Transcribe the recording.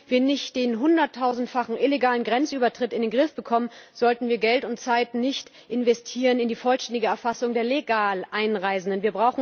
Solange wir nicht den hunderttausendfachen illegalen Grenzübertritt in den Griff bekommen, sollten wir Geld und Zeit nicht investieren in die vollständige Erfassung der legal Einreisenden.